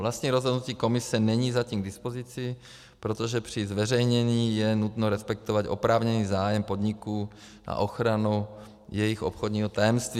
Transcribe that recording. Vlastní rozhodnutí Komise není zatím k dispozici, protože při zveřejnění je nutno respektovat oprávněný zájem podniku a ochranu jejich obchodního tajemství.